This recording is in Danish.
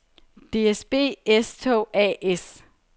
DSB S-Tog A/S